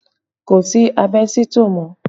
Kò sí àbẹ́sítọ̀ mọ́